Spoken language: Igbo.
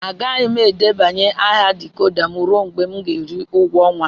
Agaghị m debanye aha decoder m ruo mgbe m ga-eri ụgwọ ọnwa.